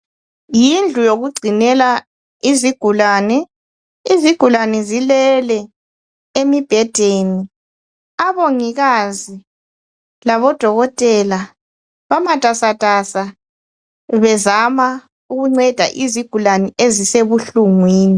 Yindlu yokugcinela izigulani. Izigulani zilele emibhedeni. Abongikazi labodokotela bamatasatasa, bezama ukunceda izigulani ezisebuhlungwini.